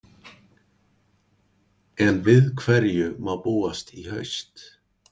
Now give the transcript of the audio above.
En við hverju má búast í haust?